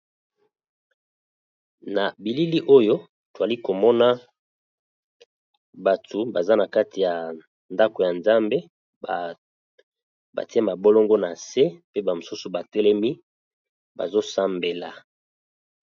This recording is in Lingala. Na bilili Oyo tozali komona batu baza n'a kati ya ndaku ya nzambe bazo sambela